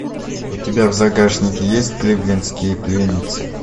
у тебя в загашнике есть кливлендские пленницы